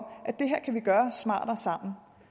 at vi gøre smartere